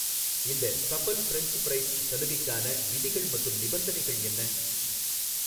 இந்த Safal French fries சலுகைக்கான விதிகள் மற்றும் நிபந்தனைகள் என்ன?